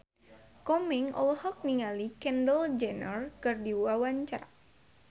Komeng olohok ningali Kendall Jenner keur diwawancara